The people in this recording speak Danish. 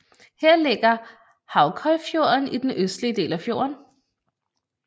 Her ligger Haukøyfjorden i den østlige del af fjorden